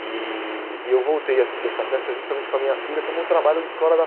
E e eu voltei a assistir essa peça justamente com a minha filha como um trabalho de escola dela.